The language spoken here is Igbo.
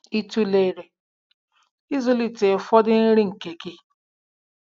Ị tụlere ịzụlite ụfọdụ nri nke gị?